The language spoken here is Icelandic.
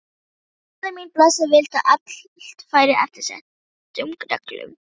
Móðir mín blessuð vildi að allt færi eftir settum reglum.